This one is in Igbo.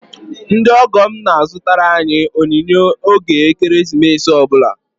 Ndị ọgọ m na-azụtara anyị onyinye oge ekeresimesi ọ bụla